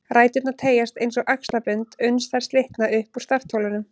Ræturnar teygjast eins og axlabönd uns þær slitna upp úr startholunum